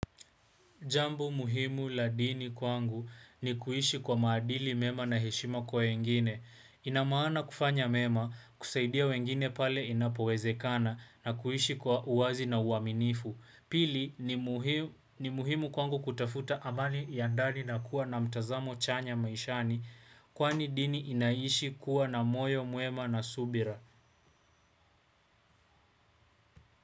Jambo muhimu la dini kwangu ni kuishi kwa maadili mema na heshima kwa wengine. Inamaana kufanya mema, kusaidia wengine pale inapowezekana na kuishi kwa uwazi na uaminifu. Pili ni muhimu kwangu kutafuta amani ya ndani na kuwa na mtazamo chanya maishani kwani dini inaishi kuwa na moyo mwema na subira.